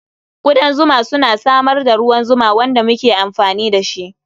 Ƙudan zuma suna samar da ruwan zuma wanda muke amfani da shi.